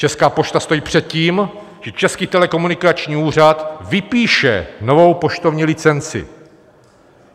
Česká pošta stojí před tím, že Český telekomunikační úřad vypíše novou poštovní licenci.